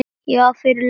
Já, fyrir löngu.